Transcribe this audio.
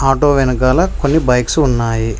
Auto వెనకాల కొన్ని bikes ఉన్నాయి.